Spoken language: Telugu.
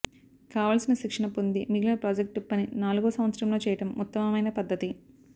కావలసిన శిక్షణ పొంది మిగిలిన ప్రాజెక్టు పని నాలుగో సంవత్సరంలో చేయడం ఉత్తమమైన పద్ధతి